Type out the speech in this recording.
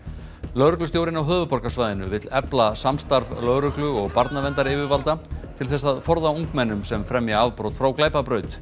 lögreglustjórinn á höfuðborgarsvæðinu vill efla samstarf lögreglu og barnaverndaryfirvalda til þess að forða ungmennum sem fremja afbrot frá